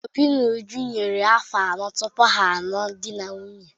Obi na Uju yiri afọ anọ tupu ha a lụọ di na nwunye.